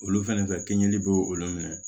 Olu fɛnɛ fɛ kɛɲɛli bɛ olu minɛ